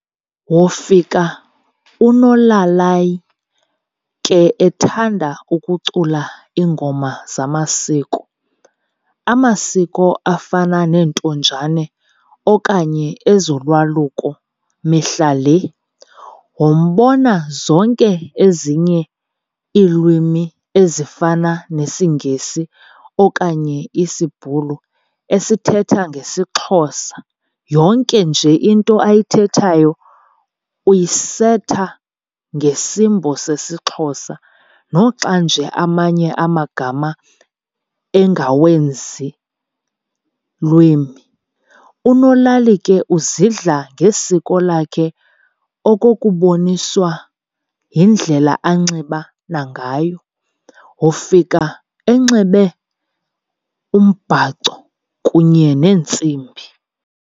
wofika unolalai ke ethanda ukucula ingoma zamasiko ,amasiko afana neNtonjane okanye ezoLwaluko mihla le.wombona zonke ezinye ilwimi ezifana nesiNgesi okanye isBhulu esithetha ngesixhosa yonke nje into ayithethatyo uyisertha ngesimbo sesixhosa noxanje amanye amagama ingawezi lwimi.unolali ke azidla ngesiko lakho okukuboniswa yindlela anxiba nagayo, wofika enxebe umbhaco kunye nentsimbi.